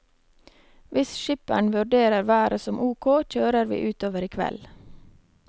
Hvis skipperen vurderer været som ok, kjører vi utover i kveld.